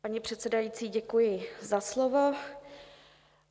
Paní předsedající, děkuji za slovo.